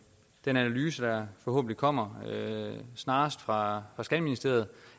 analyse der forhåbentlig kommer snarest fra skatteministeriet